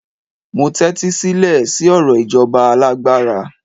mo tẹtisilẹ si ọrọ ijoba alágbára